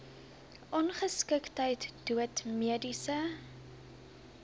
ongeskiktheid dood mediese